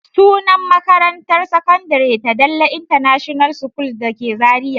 Sunan makarantar sakandare ta Dalle international school da ke Zariya.